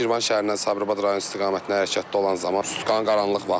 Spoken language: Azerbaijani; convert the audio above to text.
Mən Şirvan şəhərindən Sabirabad rayon istiqamətində hərəkətdə olan zaman sutkanın qaranlıq vaxtı idi.